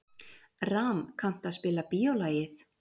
Ram, kanntu að spila lagið „Bíólagið“?